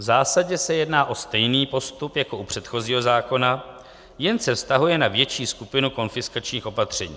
V zásadě se jedná o stejný postup jako u předchozího zákona, jen se vztahuje na větší skupinu konfiskačních opatření.